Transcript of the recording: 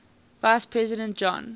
vice president john